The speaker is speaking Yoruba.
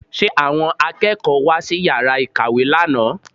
Ṣe àwọn akẹ́kọ̀ọ́ wá sí yàrá ìkàwé lánàá?